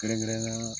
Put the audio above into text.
Kɛrɛnkɛrɛnnenya